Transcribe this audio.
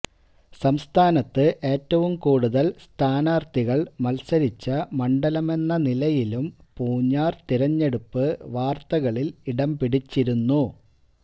സംസ്ഥാനത്ത് ഏറ്റവും കൂടുതല് സ്ഥാനാര്ഥികള് മത്സരിച്ച മണ്ഡലമെന്ന നിലയിലും പൂഞ്ഞാര് തിരഞ്ഞെടുപ്പ് വാര്ത്തകളില് ഇടം പിടിച്ചിരുന്നു